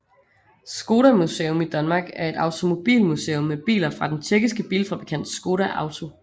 Škoda Museum Danmark er et automobilmuseum med biler fra den tjekkiske bilfabrikant Škoda Auto